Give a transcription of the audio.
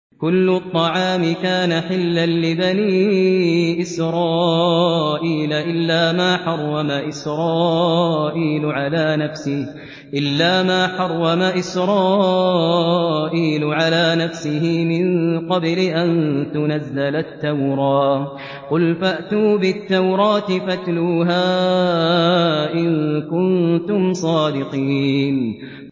۞ كُلُّ الطَّعَامِ كَانَ حِلًّا لِّبَنِي إِسْرَائِيلَ إِلَّا مَا حَرَّمَ إِسْرَائِيلُ عَلَىٰ نَفْسِهِ مِن قَبْلِ أَن تُنَزَّلَ التَّوْرَاةُ ۗ قُلْ فَأْتُوا بِالتَّوْرَاةِ فَاتْلُوهَا إِن كُنتُمْ صَادِقِينَ